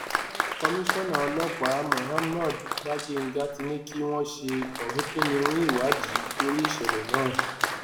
komisanna ọlọpàá mohammed bagenga ti ní kí wọn ṣe orinkinniwín ìwádìí lórí ìṣẹlẹ náà